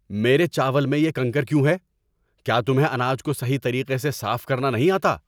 میرے چاول میں یہ کنکر کیوں ہے؟ کیا تمہیں اناج کو صحیح طریقے سے صاف کرنا نہیں آتا؟